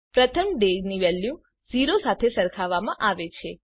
પ્રથમ ડે ની વેલ્યુ 0 સાથે સરખાવવામાં આવે છે